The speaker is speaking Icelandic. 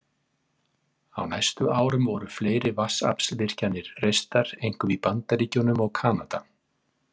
Á næstu árum voru fleiri vatnsaflsvirkjanir reistar, einkum í Bandaríkjunum og Kanada.